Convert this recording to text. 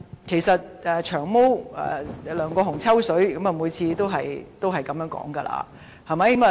其實"長毛"梁國雄議員每次"抽水"也是這樣說的，對嗎？